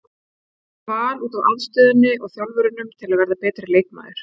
Ég valdi Val út af aðstöðunni og þjálfurunum til að verða betri leikmaður.